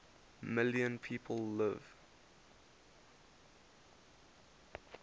million people live